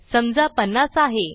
समजा 50 आहे